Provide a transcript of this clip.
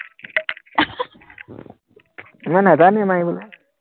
মই নাজানোৱে মাৰিবলৈ